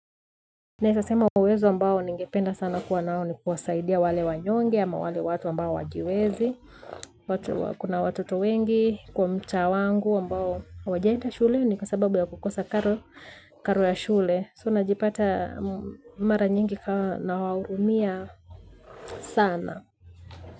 Naeza sema uwezo ambao ningependa sana kuwa nao ni kuwasaidia wale wanyonge ama wale watu ambao hawajiwezi watu wa kuna watoto wengi kwa mtaa wangu ambao hawajaenda shuleni kwa sababu ya kukosa karo ya shule soo najipata mara nyingi ka nawahurumia sana.